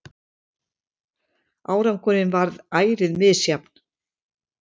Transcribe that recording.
Árangurinn varð ærið misjafn.